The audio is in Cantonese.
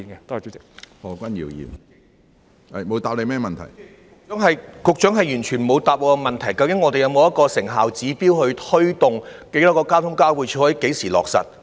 主席，局長完全沒有回答我的問題，究竟當局有沒有一個成效指標，推動在公共運輸交匯處落實計劃？